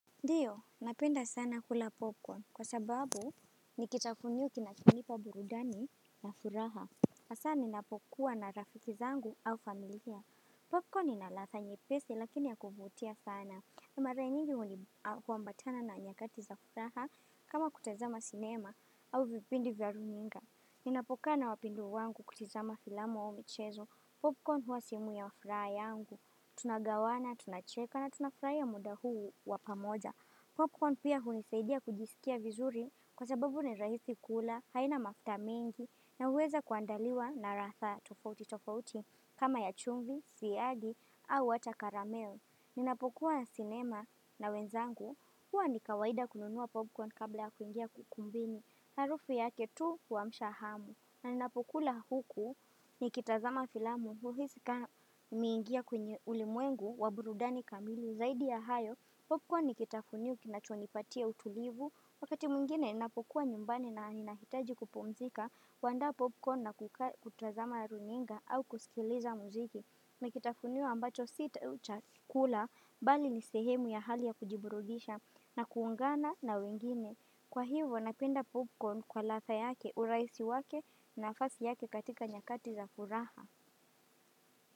Ndiyo, napenda sana kula popcorn. Kwa sababu, nikitafunio kinachonipa burudani na furaha. Hasa, ninapokuwa na rafiki zangu au familia. Popcorn inaladha nyepesi, lakini ya kuvutia sana. Mara nyingi huambatana na anyakati za furaha, kama kutazama sinema, au vipindi vya runinga. Ninapokaa na wapendwa wangu kutazama filamu au michezo. Popcorn huwa sehemu ya furaha yangu. Tunagawana, tunacheka na tunafurahia muda huu wapamoja Popcorn pia hunisaidia kujisikia vizuri kwa sababu ni rahisi kula, haina mafuta mengi na huweza kuandaliwa na ladha tofauti tofauti kama ya chumvi, siyagi au hata karameo Ninapokuwa na sinema na wenzangu huwa ni kawaida kununua popcorn kabla ya kuingia ukumbini Harufu yake tu huamsha hamu na ninapokula huku nikitazama filamu huhisi nimeingia kwenye ulimwengu wa burudani kamili zaidi ya hayo Popcorn nikitafunio kinachonipatia utulivu wakati mwingine ninapokua nyumbani na ninahitaji kupumzika huandaa popcorn na kutazama runinga au kusikiliza muziki Nikitafunio ambacho sitaacha kula bali ni sehemu ya hali ya kujiburudisha na kuungana na wengine Kwa hivyo napenda popcorn kwa ladha yake urahisi wake nafasi yake katika nyakati za furaha.